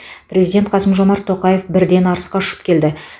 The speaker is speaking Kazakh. президент қасым жомарт тоқаев бірден арысқа ұшып келді